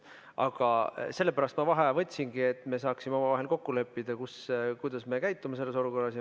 Aga sellepärast ma vaheaja võtsingi, et me saaksime omavahel kokku leppida, kuidas me käitume selles olukorras.